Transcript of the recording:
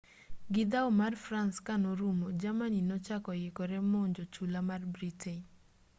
gi dhao mar france kanorumo germany nochako ikore monjo chula mar britain